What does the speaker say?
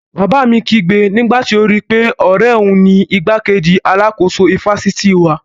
Bàbá mi kígbe nígbàtí ó rí pé ọ̀rẹ́ òun ni igbákejì alákóso ifásitì wa